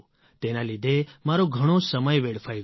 તેના લીધે મારો ઘણો સમય વેડફાઇ ગયો